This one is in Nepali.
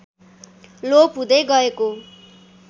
लोप हुँदै गएको